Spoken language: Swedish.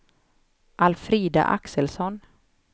Alfrida Axelsson